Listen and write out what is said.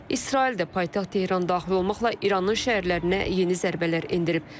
İsrail də paytaxt Tehran daxil olmaqla İranın şəhərlərinə yeni zərbələr endirib.